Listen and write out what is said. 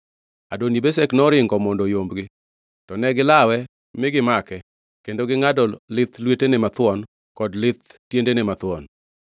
Adoni-Bezek noringo mondo oyombgi, to ne gilawe ma gimake kendo gingʼado lith lwetene mathuon kod lith tiendene mathuon.